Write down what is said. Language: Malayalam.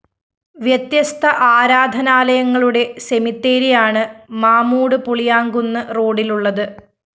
വ്യത്യസ്ത ആരാധനാലയങ്ങളുടെ സെമിത്തേരിയാണ് മാമ്മൂട്പുളിയാംകുന്ന് റോഡിലുള്ളത്